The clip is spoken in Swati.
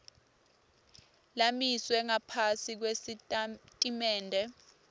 lamiswe ngaphasi kwesitatimende